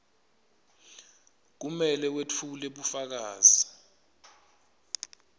kumele wetfule bufakazi